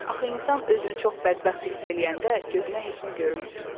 Axı insan özünü çox bədbəxt hiss eləyəndə gözünə heç nə görünmür.